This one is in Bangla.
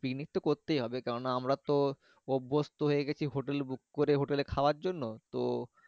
picnic তো করতে হবে কারণ আমরা তো অভ্যাস্ত হয়েগেছি Hotalbuk করে hotel খাওয়ার জন্য তো।